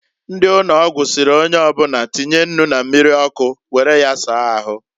Ndi ụnọgwụ sịrị onyeobụna tinye nnu na mmiri ọkụ were ya saa ahu.